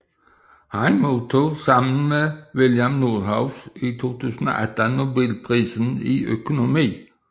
Han modtog sammen med William Nordhaus i 2018 Nobelprisen i økonomi